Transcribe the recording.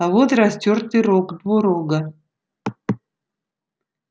а вот растёртый рог двурога